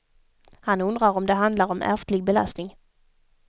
Han undrar om det handlar om ärftlig belastning.